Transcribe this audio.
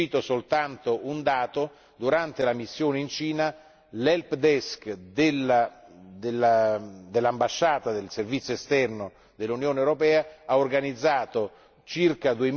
Cito soltanto un dato durante la missione in Cina, l' help desk dell'ambasciata del Servizio esterno dell'Unione europea ha organizzato circa